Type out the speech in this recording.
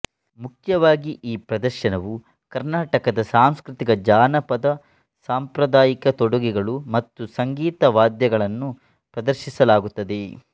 ಮುಖ್ಯವಾಗಿ ಈ ಪ್ರದರ್ಶನವು ಕರ್ನಾಟಕದ ಸಾಂಸ್ಕೃತಿಕ ಜಾನಪದ ಸಾಂಪ್ರದಾಯಿಕ ತೊಡುಗೆಗಳು ಮತ್ತು ಸಂಗೀತ ವಾದ್ಯಗಳನ್ನು ಪ್ರದರ್ಶಿಸಲಾಗುತ್ತದೆ